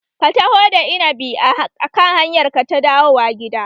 Ka taho da innabi a kan hanyar ka ta dawowa gida!